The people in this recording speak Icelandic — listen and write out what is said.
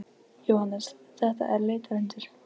Jóhannes: Þetta er leitarhundur?